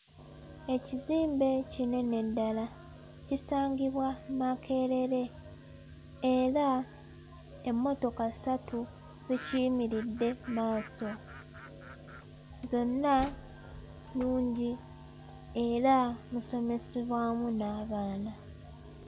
Ekizimbe kinene ddala kisangibwa Makerere era emmotoka ssatu zikiyimiridde mmaaso. Zonna nnungi era musomesebwamu n'abaana.